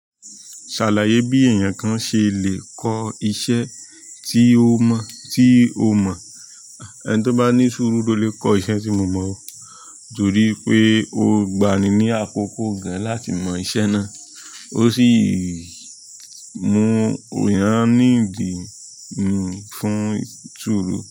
Se alaye bi eyenkan se le ko iṣẹ́ ti o mo, ti o mo ẹni tí ó bá ní sùúrù ló lè kọ́ iṣẹ́ tí mo mọ̀ o, torí pé ó gba'ni ní àkókò gan láti mọ iṣẹ́ náà. Ó sì mú ọyàn níbí mi fún sùúrù.